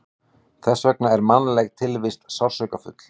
Þess vegna er mannleg tilvist sársaukafull.